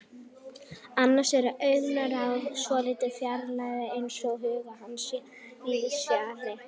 Annars er augnaráðið svolítið fjarrænt, eins og hugur hans sé víðsfjarri.